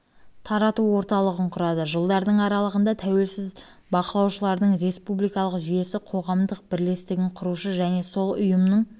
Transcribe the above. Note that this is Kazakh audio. тарату орталығын құрады жылдардың аралығында тәуелсіз бақылаушылардың республикалық жүйесі қоғамдық бірлестігін құрушы және сол ұйымның